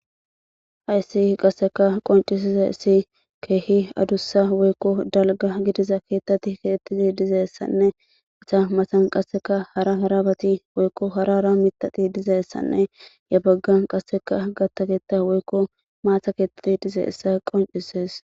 hayssi qasseka qoncisise si keehi adussa weykko dalga gidiza keettati keettiti dizeessanne ita masan qasseka hara garabati woykko hara ara mitati dizeessanne yabaggan qasseka gattakeeta woykko maata keettati dizeeessa qoncisees